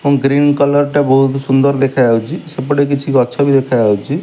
Green colour ଟା ବୋହୁତ ସୁନ୍ଦର ଦେଖାଯାଉଚି। ସେପଟେ କିଛି ଗଛ ବି ଦେଖାଯାଉଚି।